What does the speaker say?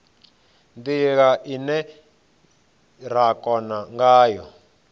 ndila ine ra kona ngayo